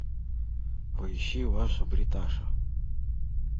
поищи ваша бриташа